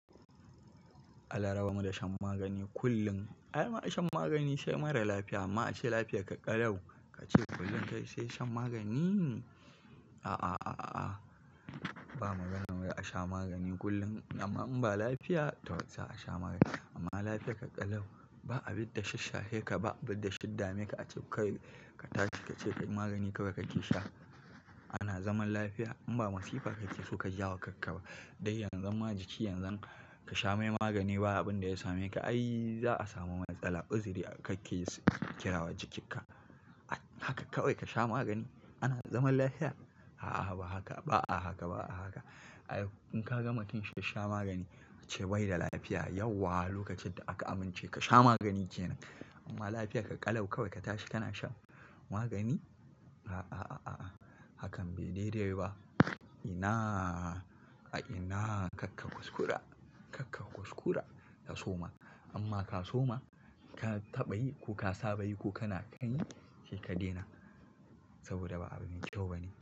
Allah raba mu da shan magani kullum. Ai ba'a shan magani sai marar lafiya, amma ace lafiyar ƙalau ka ce kullum kai sai shan magani? A a a a a. Ba maganar wai asha magani kullum, amma in ba lafiya, to za a sha magani. Amma lafiya ƙalau, ba abin da ya shishshahe ka ba, abin da ya shiddame ka, ace kai ka tashi ka ce kai magani kawai kake sha. Ana zaman lafiya, in ba masifa kake so ka jawo kanka ba. Dai yanzu ma jiki yanzan ka sha mai magani ba abin da ya same ka, ai za a samu matsala, iziri kake kira wa jikinka. Haka kawai ka sha magani? Ana zaman lafiya? A a ba haka, ba a haka, ba a haka. Ai in ka ga mutum shishsha magani, ace bai da lafiya, yauwa lokacin da aka amince ka sha magani ke nan. Amma lafiyar ƙalau kawai ka tashi kana shan magani? A a a a a. Hakan bai da dede ba. Ina, ai ina kakka kuskura, kakka kuskura ta soma. Amma ka soma, ka taɓa yi ko ka saba yi ko kana kanyi she ka dena. Saboda ba abu me kyau bane.